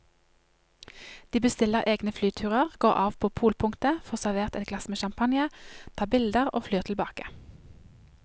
De bestiller egne flyturer, går av på polpunktet, får servert et glass med champagne, tar bilder og flyr tilbake.